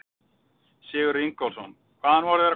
Sigurður Ingólfsson: Hvaðan voru þeir að koma?